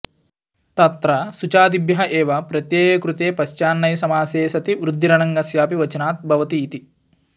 तत्र शुच्यादिभ्यः एव प्रत्यये कृते पश्चान्नञ्समासे सति वृद्धिरनङ्गस्यापि वचनात् भवति इति